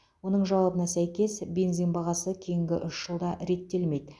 оның жауабына сәйкес бензин бағасы кейінгі үш жылда реттелмейді